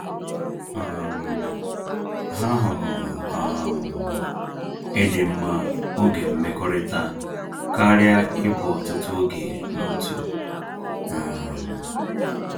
um Ha hụrụ um ịdị mma oge mmekọrịta karịa ịbụ ọtụtụ oge n’otu. um